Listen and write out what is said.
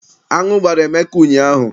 Aṅụ gbara Emeka ụnyaahụ.